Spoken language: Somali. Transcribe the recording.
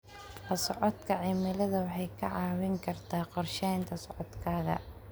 La socodka cimilada waxay kaa caawin kartaa qorsheynta socodkaaga.